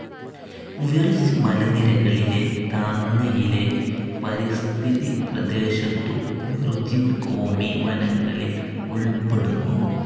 വിർജ് മലനിരകളിലെ താങ്ങയിലെ പരിസ്ഥിതി പ്രദേശത്തു വിർജിൻ കോമി വനങ്ങളിൽ ഉൾപ്പെടുന്നു.